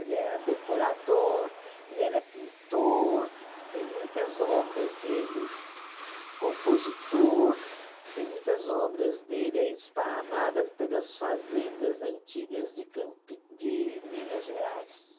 Ele era decorador, ele era pintor, tem muitas obras dele, compositor, tem muitas obras dele, é esparramada pelas fazendas antigas de Campi de Minas Gerais.